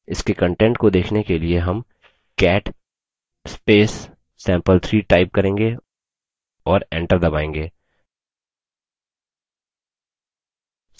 इसके कंटेंट को देखने के लिए हम cat sample3 type करेंगे और enter दबायेंगे